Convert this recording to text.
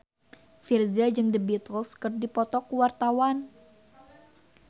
Virzha jeung The Beatles keur dipoto ku wartawan